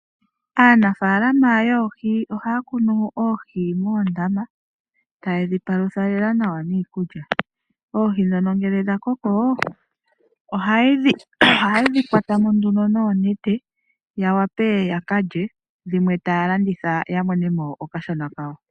Aanafaalama yoohi ohaya kunu oohi moondaama taye dhi palutha lela nawa niikulya. Oohi ngele dha koko ohaye dhi kwata mo noonete ya wape ya ka lye, dhimwe taye dhi landitha ya mone mo okashona kawo.